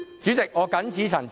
主席，我謹此陳辭。